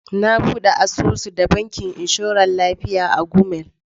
Na buɗe asusu da bankin inshoran lafiya a Gumel.